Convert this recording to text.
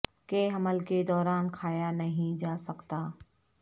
کہ حمل کے دوران کھایا نہیں کیا جا سکتا